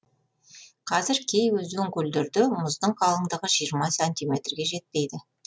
қазір кей өзен көлдерде мұздың қалыңдығы жиырма сантиметрге жетпейді